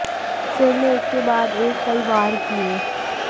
सिर में एक के बाद एक कई वार किए